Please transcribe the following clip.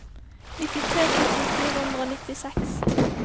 nittitre tusen fire hundre og nittiseks